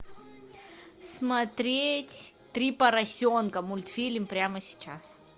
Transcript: смотреть три поросенка мультфильм прямо сейчас